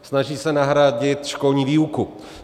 Snaží se nahradit školní výuku.